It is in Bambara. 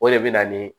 O de bɛ na ni